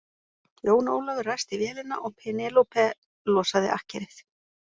Jón Ólafur ræsti vélina og Penélope losaði akkerið.